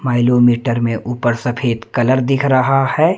Milometer में ऊपर सफेद कलर दिख रहा है।